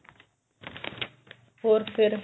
ਹੋਰ ਫੇਰ